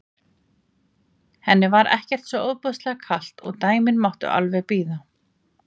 Henni var ekkert svo ofboðslega kalt og dæmin máttu alveg bíða.